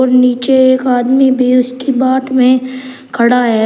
और नीचे एक आदमी भी उसकी बात में खड़ा है।